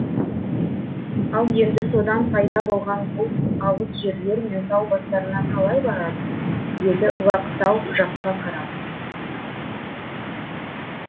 ал енді содан пайда болған бұлт алыс жерлер мен тау бастарына қалай барады деді лақ тау жаққа қарап